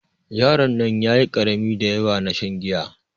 Yaron nan ƴaƴi karami daƴawa na shan giya.